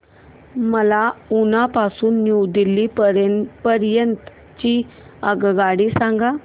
मला उना पासून न्यू दिल्ली पर्यंत ची आगगाडी सांगा